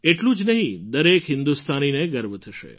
એટલું જ નહીં દરેક હિન્દુસ્તાનીને ગર્વ થશે